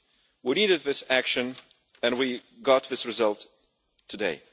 We needed this action and we got this result today.